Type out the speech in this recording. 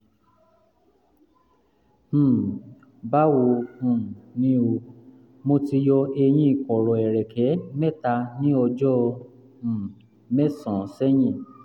um báwo um ni o? mo ti yọ eyín kọ̀rọ̀ ẹ̀rẹ̀kẹ́ mẹ́ta ní ọjọ́ um mẹ́sàn-án sẹ́yìn